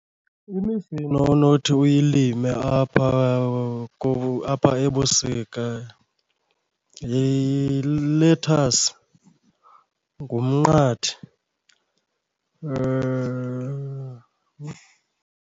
Imifino onothi uyilime apha , apha ebusika yilethasi, ngumnqathi .